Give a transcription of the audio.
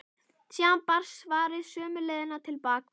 Síðan barst svarið sömu leið til baka.